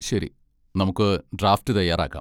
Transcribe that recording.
ശരി, നമുക്ക് ഡ്രാഫ്റ്റ് തയ്യാറാക്കാം.